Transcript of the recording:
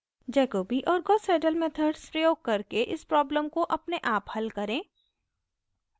jacobi और gauss seidel methods प्रयोग करके इस प्रॉब्लम को अपने आप हल करें